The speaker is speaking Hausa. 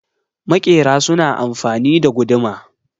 makera suna amfani da guduma